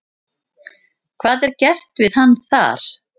Hvað er gert við hann þar?